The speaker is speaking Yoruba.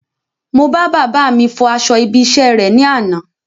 Mo bá bàbáà mi fọ aṣọ ibi iṣẹ́ rè ní àná.